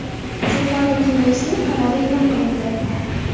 Jo‘qorg‘i Kengesning qarori e’lon qilindi.